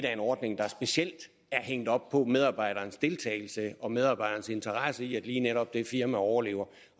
er en ordning der specielt er hængt op på medarbejderens deltagelse og medarbejderens interesse i at lige netop det firma overlever